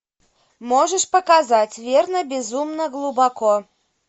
можешь показать верно безумно глубоко